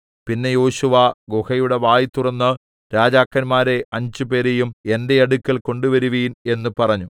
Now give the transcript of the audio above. പിന്നെ യോശുവ ഗുഹയുടെ വായ് തുറന്ന് രാജാക്കന്മാരെ അഞ്ചുപേരേയും എന്റെ അടുക്കൽ കൊണ്ടുവരുവീൻ എന്ന് പറഞ്ഞു